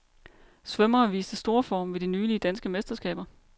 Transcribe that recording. Svømmere viste storform ved de nylige danske mesterskaber.